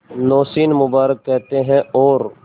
नौशीन मुबारक कहते हैं और